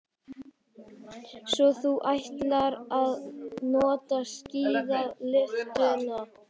Svo þú ætlar ekki að nota skíðalyftuna.